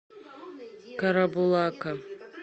карабулака